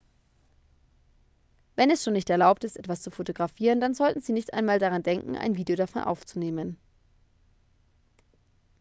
wenn es schon nicht erlaubt ist etwas zu fotografieren dann sollten sie nicht einmal daran denken ein video davon aufzunehmen